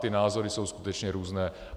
Ty názory jsou skutečně různé.